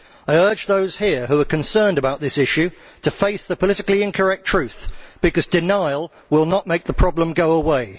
I urge those here who are concerned about this issue to face the politically incorrect truth, because denial will not make the problem go away.